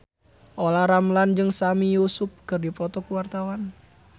Olla Ramlan jeung Sami Yusuf keur dipoto ku wartawan